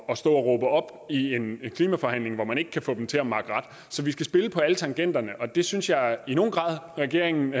at stå og råbe op i en klimaforhandling hvor man ikke kan få de andre til at makke ret så vi skal spille på alle tangenter og det synes jeg i nogen grad regeringen